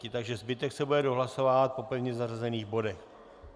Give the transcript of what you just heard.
Takže zbytek se bude dohlasovávat po pevně zařazených bodech.